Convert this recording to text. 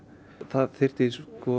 það þyrfti